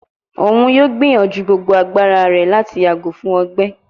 Oun yoo gbiyanju gbogbo agbara rẹ lati yago fun ọgbẹ